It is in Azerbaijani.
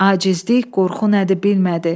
Acizlik, qorxu nədir bilmədi.